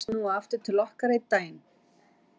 Mun hann snúa aftur til okkar einn daginn?